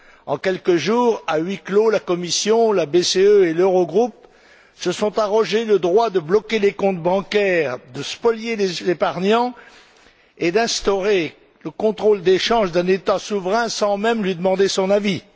En quelques jours, à huis clos, la Commission, la BCE et l'Eurogroupe se sont arrogé le droit de bloquer les comptes bancaires, de spolier les épargnants et d'instaurer le contrôle des changes d'un État souverain sans même lui demander son avis.